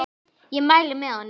Ég mæli með honum.